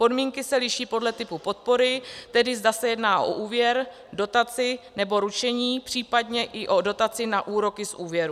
Podmínky se liší podle typu podpory, tedy zda se jedná o úvěr, dotaci nebo ručení, případně i o dotaci na úroky z úvěrů.